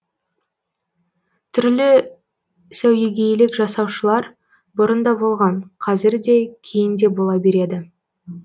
түрлі сәуегейлік жасаушылар бұрын да болған қазір де кейін де бола береді